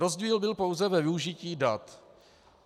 Rozdíl byl pouze ve využití dat.